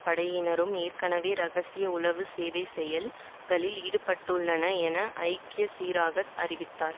படையினரும் ஏற்கனவே இரகசிய உளவு சேவை செயல் களில் ஈடுபட்டுள்ளன என ஜாக் சிறாக் அறிவித்தார்